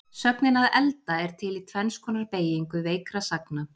Sögnin að elda er til í tvenns konar beygingu veikra sagna.